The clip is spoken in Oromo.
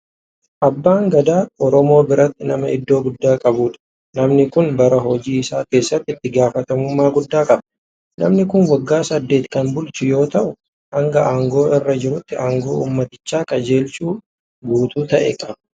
Abbaan gadaa Oromoo biratti nama iddoo guddaa qabudha. Namni kun bara hojii isaa keessatti itti gaafatamummaa guddaa qaba. Namni kun waggaa saddeet kan bulchu yeroo ta'u hanga aangoo irra jirutti aangoo uummaticha qajeelchuu guutuu ta'e qaba.